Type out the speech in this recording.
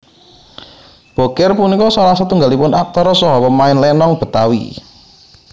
Bokir punika salah setunggaling aktor saha pemain lénong Betawi